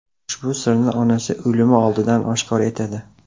Ushbu sirni onasi o‘limi oldidan oshkor etadi.